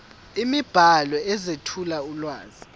imibhalo ezethula ulwazi